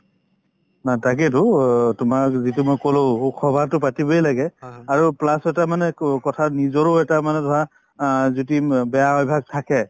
না তাকেতো অ তোমাৰ যিটো মই কলো সভাতো পাতিবয়ে লাগে `আৰু plus এটা মানে ক কথা নিজৰো এটা মনে ধৰা অ যদি বেয়া অভ্যাস থাকে